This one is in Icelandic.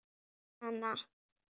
Einkum hana.